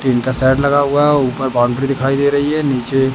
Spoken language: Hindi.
टीन का सेट लगा हुआ ऊपर बाउंड्री दिखाई दे रही है नीचे--